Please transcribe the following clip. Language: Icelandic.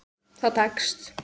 Það tekst.